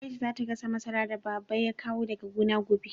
Aisha za ta gasa masarar da Baba ya kawo daga gona gobe.